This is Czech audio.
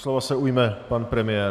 Slova se ujme pan premiér.